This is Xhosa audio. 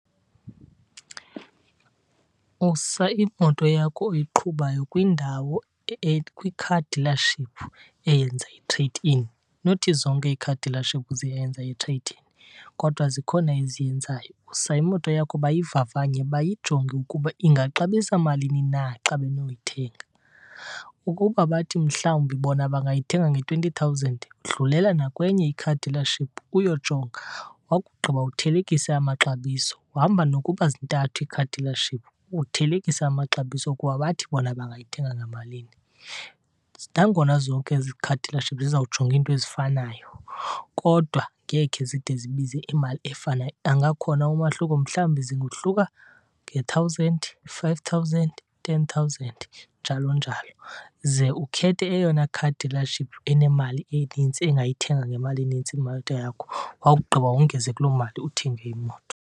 Usa imoto yakho oyiqhubayo kwindawo kwi-car dealership eyenza i-trade in. Not zonke ii-car dealership ziyayenza i-trade in, kodwa zikhona eziyenzayo. Usa imoto yakho bayivavanye, bayijonge ukuba ingaxabisa malini na xa benokuyithenga. Ukuba bathi mhlawumbi bona bangayithenga nge-twenty thousand, dlulela nakwenye i-car dealership uyojonga, wakugqiba uthelekise amaxabiso. Hamba nokuba zintathu ii-car dealership uthelekise amaxabiso okuba bathi bona bangayithenga ngamalini. Nangona zonke ezi car dealership zizawujonga into ezifanayo, kodwa ngekhe zide zibize imali efanayo. Angakhona umahluko, mhlawumbi zingohluka nge-thousand, i-five thousand, i-ten thousand, njalo njalo. Ze ukhethe eyona car dealership enemali enintsi, engayithenga ngemali enintsi imoto yakho, wakugqiba wongeze kuloo mali uthenge imoto.